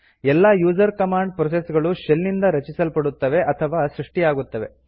ಎಲ್ಲ user command process ಗಳು shell ನಿಂದ ರಚಿಸಲ್ಪಡುತ್ತವೆ ಅಥವಾ ಸೃಷ್ಟಿಯಾಗುತ್ತವೆ